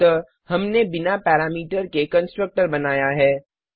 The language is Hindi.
अतः हमने बिना पैरामीटर के कंस्ट्रक्टर बनाया है